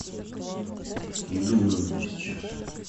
еду в номер мне сейчас